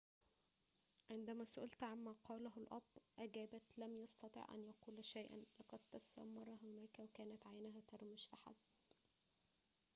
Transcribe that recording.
عندما سُئلت عما قاله الأب أجابت لم يستطع أن يقول شيئًا لقد تسمر هناك وكانت عيناه ترمش فحسب